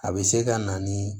A bɛ se ka na ni